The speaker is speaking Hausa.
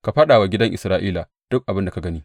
Ka faɗa wa gidan Isra’ila duk abin da ka gani.